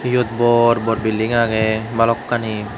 iyot bor bor building agey balokkani.